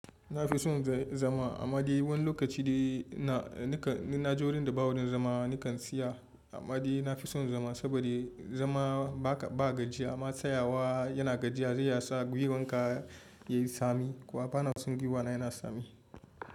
Na fi son zama, amma dai wani lokaci dai na je wurinda ba wajen zama nakan tsaya, amma dai na fi son zama saboda zama baka ba gajiya, amma tsayawa yana gajiya sai yasa gwiwanka yayi tsami, kuwa bana son gwiwana yana tsami.